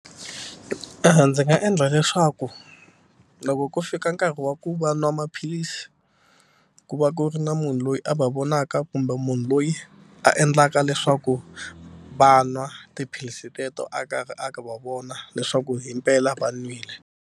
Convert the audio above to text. Ndzi nga endla leswaku loko ko fika nkarhi wa ku va nwa maphilisi ku va ku ri na munhu loyi a va vonaka kumbe munhu loyi a endlaka leswaku va nwa tiphilisi teto a karhi a va vona leswaku himpela va nwile.